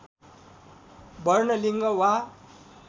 वर्ण लिङ्ग वा